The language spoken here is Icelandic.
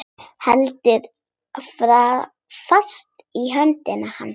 Heldur fast í hönd hans.